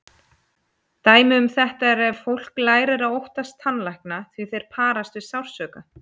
Dæmi um þetta er ef fólk lærir að óttast tannlækna því þeir parast við sársauka.